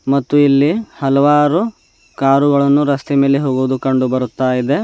ಮತ್ತು ಇಲ್ಲಿ ಹಲವಾರು ಕಾರುಗಳನ್ನು ರಸ್ತೆಯ ಮೇಲೆ ಹೋಗುವುದನ್ನು ಕಂಡು ಬರ್ತಾ ಇದೆ.